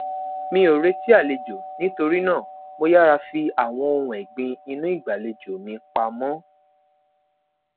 mi o reti alejo nitori naa mo yara fi awọn ohun ẹgbin inu igbalejo mi pamọ